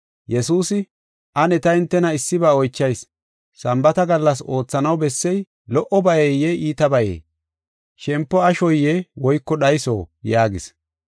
Yesuusi, “Ane ta hintena issiba oychayis; Sambaata gallas oothanaw bessey lo77obayeye iitabayee? Shempo ashoye woyko dhayso?” yaagis.